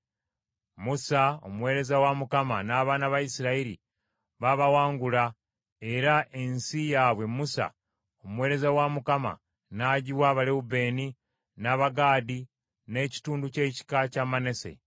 Musa omuweereza wa Mukama n’abaana ba Isirayiri babawangula, era ensi yaabwe Musa omuweereza wa Mukama n’agiwa Abalewubeeni, n’Abagaadi n’ekitundu ky’ekika kya Manase.